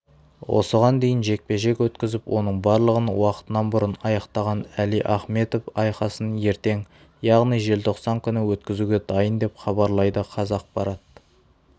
осыған дейін жекпе-жек өткізіп оның барлығын уақытынан бұрын аяқтаған әли ахмедов айқасын ертең яғни желтоқсан күні өткізуге дайын деп хабарлайды қазақпарат